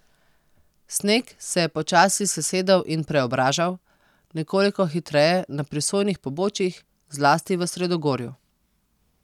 Sneg se je počasi sesedal in preobražal, nekoliko hitreje na prisojnih pobočjih, zlasti v sredogorju.